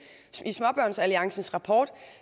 i småbørnsalliancens rapport